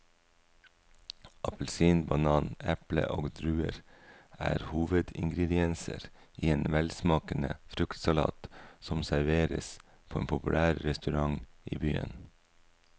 Appelsin, banan, eple og druer er hovedingredienser i en velsmakende fruktsalat som serveres på en populær restaurant i byen.